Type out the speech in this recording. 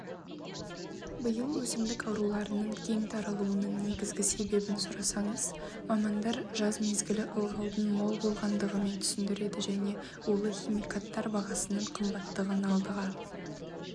иыл өсімдік аурулардың кең таралуының негізгі себебін сұрасаңыз мамандар жаз мезгілі ылғалдың мол болғандығымен түсіндіреді және улы химикаттар бағасының қымбаттығын алдыға